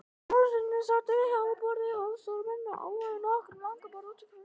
Jólasveinarnir sátu við háborðið, aðstoðarmenn og álfar við nokkur langborð út frá því.